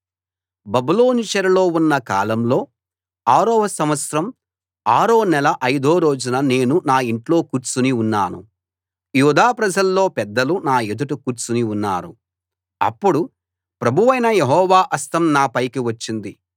బబులోను చెరలో ఉన్న కాలంలో ఆరో సంవత్సరం ఆరో నెల ఐదో రోజున నేను నా ఇంట్లో కూర్చుని ఉన్నాను యూదా ప్రజల్లో పెద్దలు నా ఎదుట కూర్చుని ఉన్నారు అప్పుడు ప్రభువైన యెహోవా హస్తం నా పైకి వచ్చింది